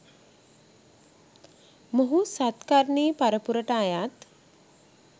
මොහු සත්කර්ණී පරපුරට අයත්